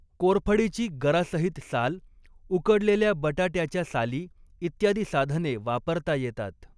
कोरफडीची गरासहित साल उकडलेल्या बटाटयाच्या साली, इत्यादी साधने वापरता येतात.